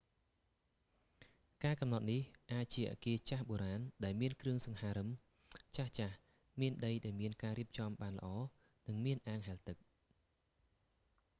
ការកំណត់នេះ អាចជាអគារចាស់បូរាណដែលមានគ្រឿងសង្ហារឹមចាស់ៗ មានដីដែលមានការរៀបចំបានល្អ និងមានអាងហែលទឹក